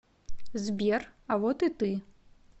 сбер а вот и ты